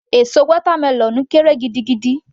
Èso watermelon kéré gidigidi